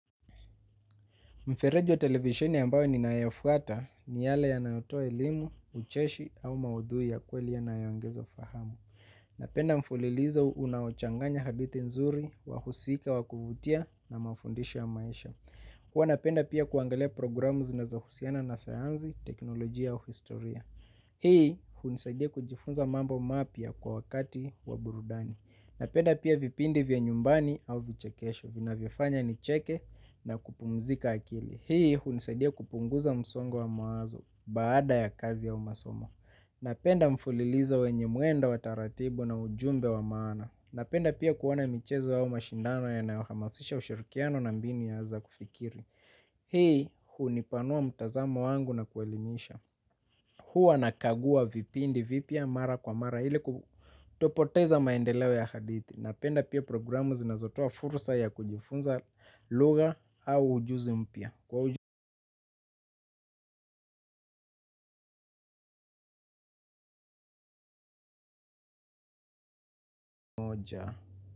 Mfereji wa televisheni ambayo ninayofuata ni yale yanayotoa elimu, ucheshi au maudhui ya kweli yanayoongeza fahamu. Napenda mfulilizo unaochanganya hadithi nzuri, wahusika wa kuvutia na mafundisho ya maisha. Huwa napenda pia kuangalia programu zinazohusiana na sayanzi, teknolojia au historia. Hii hunisaidia kujifunza mambo mapya kwa wakati wa burudani. Napenda pia vipindi vya nyumbani au vichekesho. Vinavyofanya nicheke na kupumzika akili. Hii hunisadia kupunguza msongo wa mawazo baada ya kazi au masomo. Napenda mfulilizo wenye mwendo wa taratibu na ujumbe wa maana. Napenda pia kuona michezo au mashindano yanayohamasisha ushirikiano na mbinu ya za kufikiri. Hii hunipanua mtazamo wangu na kuelimisha. Huwa nakagua vipindi vipya mara kwa mara ili kutopoteza maendeleo ya hadithi. Napenda pia programu zinazotoa fursa ya kujifunza lugha au ujuzi mpya. Kwa moja.